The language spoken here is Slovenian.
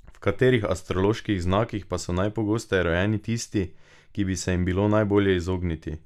V katerih astroloških znakih pa so najpogosteje rojeni tisti, ki bi se jim bilo najbolje izogniti?